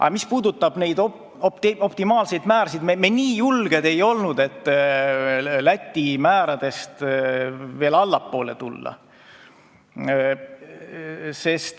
Aga mis puudutab optimaalseid määrasid, siis me nii julged ei olnud, et Läti määradest allapoole tulla.